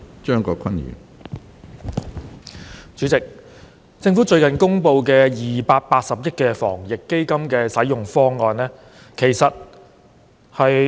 主席，政府最近公布280億元防疫抗疫基金的使用方案。